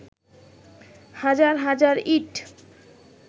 হাজার হাজার ইঁট